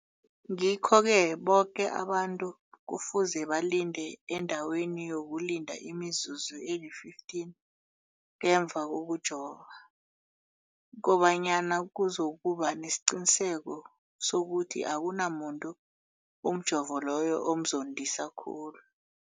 Ngikho-ke boke abantu kufuze balinde endaweni yokulinda imizuzu eli-15 ngemva kokujova, koba nyana kuzokuba nesiqiniseko sokuthi akunamuntu umjovo loyo omzondisa khulu.